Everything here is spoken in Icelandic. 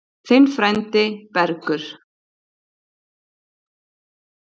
Þinn frændi, Bergur.